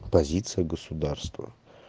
позиция государства